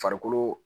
Farikolo